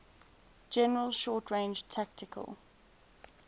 general short range tactical